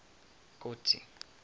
kotsi